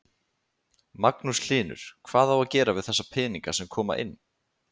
Magnús Hlynur: Hvað á að gera við þessa peninga sem koma inn?